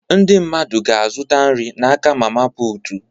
Ndị mmadụ ga-azụta nri n'aka mama putu